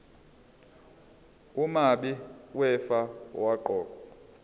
umabi wefa owaqokwa